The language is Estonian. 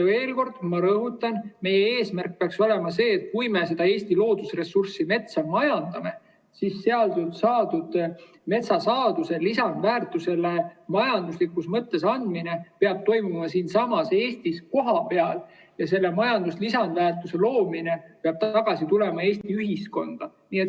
Veel kord, ma rõhutan: meie eesmärk peaks olema see, et kui me majandame seda Eesti loodusressurssi, metsa, siis saadud metsasaadustele lisandväärtuse majanduslikus mõttes andmine peab toimuma siinsamas Eestis kohapeal ja see lisandväärtus peab tagasi tulema Eesti ühiskonda.